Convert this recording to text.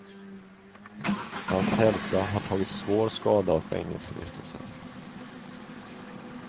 Hans hälsa har tagit svår skada av fängelsevistelsen.